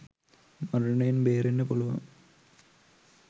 මරණයෙන් බේරෙන්න පුළුවන්.